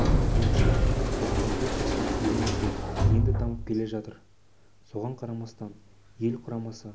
оның айтуынша спорттың бұл түрі елімізде енді дамып келе жатыр соған қарамастан ел құрамасы